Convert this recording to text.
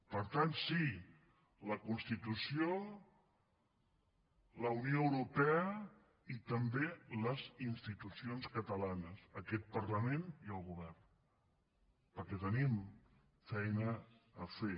per tant sí la constitució la unió europea i també les institucions catalanes aquest parlament i el govern perquè tenim feina a fer